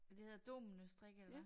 Men det hedder dominostrik eller hvad?